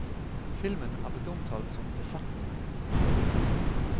Filmen er blitt omtalt som besettende.